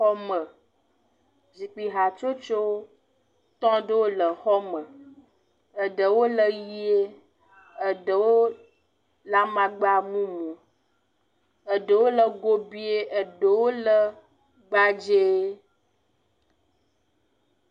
Xɔme zikpui hatsotsowo tɔ ɖewo le xɔme, eɖewo le ʋie, eɖewo le amakpa mumu, eɖewo le gobuie eɖewo le gbadzee.